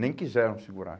Nem quiseram segurar.